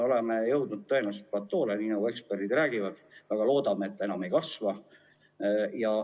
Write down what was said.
Oleme tõenäoliselt jõudnud platoole, nagu eksperdid räägivad, ja väga loodame, et nakatumine enam ei kasva.